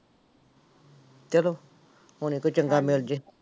ਚਲੋ, ਹੁਣੇ ਕੋਈ ਚੰਗਾ ਮਿਲ ਜਾਏ।